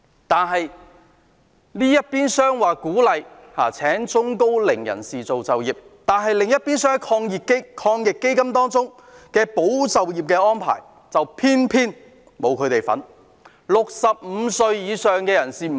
但是，這邊廂政府說鼓勵聘請高齡人士，另一邊廂的防疫抗疫基金保就業安排卻偏偏沒有涵蓋這些人士。